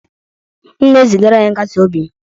M na-ezigara ya nkasi obi m